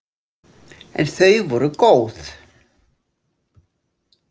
En þau voru góð.